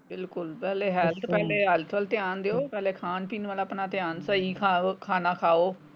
ਬਿਲਕੁਲ ਪਹਿਲੇ ਹੈਲਥ ਪਹਿਲੇ ਹੈਲਥ ਵੱਲ ਧਿਆਨ ਦਿਓ ਪਹਿਲੇ ਖਾਣ ਪੀਣ ਵੱਲ ਆਪਣਾ ਸਹੀ ਖਾਓ ਖਾਣਾ ਖਾਓ।